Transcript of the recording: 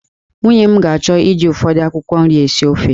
Nwunye m ga-achọ iji ụfọdụ akwụkwọ nri esi ofe